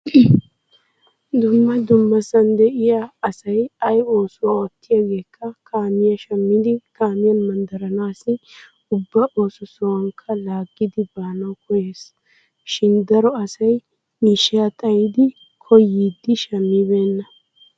Dumma dummasan de'iya asay ayi oosuwa ottiyaageekka kaamiya shammidi kaamiyan manddaranaassi ubba ooso sohuwakka laaggidi baanawu koyyees. Shin daro asay miishshaa xayidi koyyiiddi shammibeenna.